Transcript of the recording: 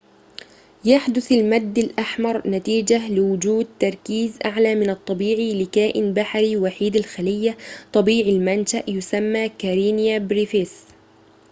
يحدث المد الأحمر نتيجة لوجود تركيز أعلى من الطبيعي لكائن بحري وحيد الخلية طبيعي المنشأ يسمى كارينيا بريفيس